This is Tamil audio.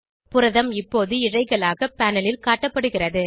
புரதம் இப்போது இழைகளாக பேனல் ல் காட்டப்படுகிறது